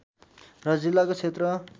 र जिल्लाको क्षेत्र